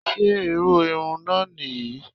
Ṣé irú irun náà nìyí?